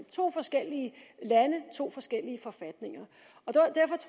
to forskellige lande to forskellige forfatninger